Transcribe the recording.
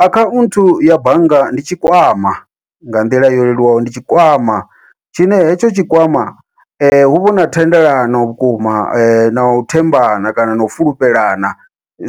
Akhanthu ya bannga ndi tshi kwama nga nḓila yo leluwaho ndi tshikwama, tshine hetsho tshikwama huvha huna thendelano vhukuma nau thembana kana nau fulufhelana